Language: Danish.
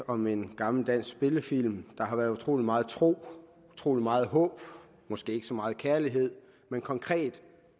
om en gammel dansk spillefilm der har været utrolig meget tro utrolig meget håb måske ikke så meget kærlighed men konkret